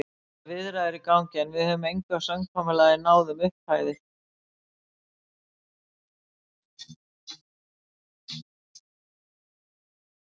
Það eru viðræður í gangi, en við höfum engu samkomulagi náð um upphæðir.